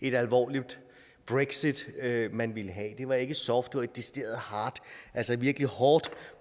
et alvorligt brexit man ville have det var ikke et soft det var et decideret hard altså et virkeligt hårdt